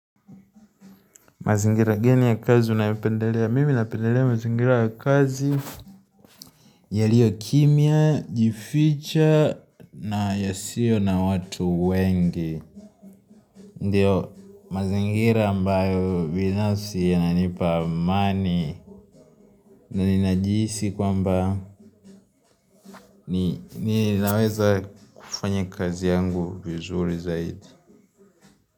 Mazingira gani ya kazi unayopendelea? Mimi napendelea mazingira ya kazi yaliyo kimya, jificha na yasiyo na watu wengi ndio mazingira ambayo binafsi yananipa amani na ninajihisi kwamba ni naweza kufanya kazi yangu vizuri zaidi.